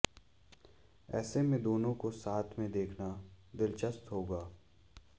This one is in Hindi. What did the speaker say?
ऐसे में दोनों को साथ में देखना दिलचस्प होगा